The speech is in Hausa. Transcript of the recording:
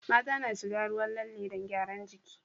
Mata na shiga ruwan lalle don gyaran jiki